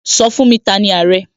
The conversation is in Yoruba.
Sọ fún mi!, T'ani Àrẹ?